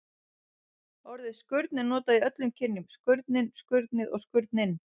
Orðið skurn er notað í öllum kynjum: skurnin, skurnið og skurninn.